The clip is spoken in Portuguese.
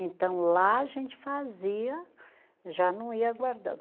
Então, lá a gente fazia, já não ia guardando.